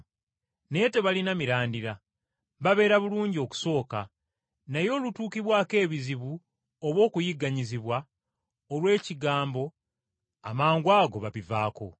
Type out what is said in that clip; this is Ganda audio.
Naye tebalina mirandira, babeera bulungi okusooka, naye olutuukibwako ebizibu oba okuyigganyizibwa olw’ekigambo amangwago babivaako.